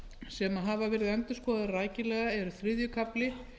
sem hafa verið endurskoðaðir rækilega eru þriðji kafli